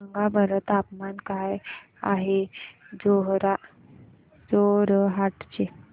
सांगा बरं तापमान काय आहे जोरहाट चे